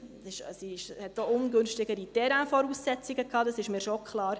Die Voraussetzungen bezüglich des Terrains waren ungünstiger, das ist mir schon klar.